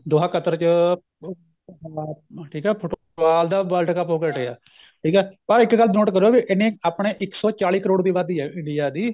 ਦੋਹਾ Qatar ਚ ਉਹ ਠੀਕ ਏ ਫੁਟਬਾਲ ਦਾ world cup ਹੋ ਕੇ ਹਟਿਆ ਠੀਕ ਏ ਪਰ ਇੱਕ ਗੱਲ note ਕਰਿਉ ਵੀ ਇੰਨੇ ਆਪਣੇ ਇੱਕ ਸੋ ਚਾਲੀ ਕਰੋੜ ਦੀ ਆਬਾਦੀ ਏ India ਦੀ